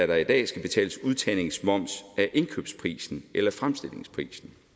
der i dag skal betales udtagningsmoms af indkøbsprisen eller fremstillingsprisen